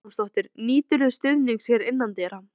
Hödd Vilhjálmsdóttir: Nýturðu stuðnings hér innandyra?